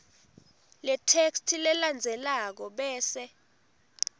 letheksthi lelandzelako bese